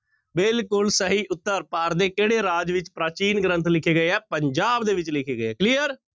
ਬਿਲਕੁਲ ਸਹੀ ਉੱਤਰ ਭਾਰਤ ਦੇ ਕਿਹੜੇ ਰਾਜ ਵਿੱਚ ਪ੍ਰਾਚੀਨ ਗ੍ਰੰਥ ਲਿਖੇ ਗਏ ਹੈ ਪੰਜਾਬ ਦੇ ਵਿੱਚ ਲਿਖੇ ਗਏ clear